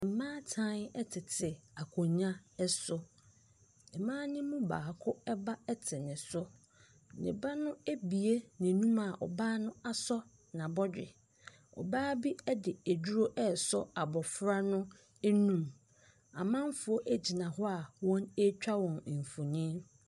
Mmaatan tete akonnwa so. Mmaa no mu baako ba te ne so. Ne ba no abue n'anom a ɔbaa no asɔ n'abɔdwe. Ɔbaa bi de aduro resɔ abɔfra no anum. Amanfoɔ gyina hɔ a wɔretwa wɔn mfonin.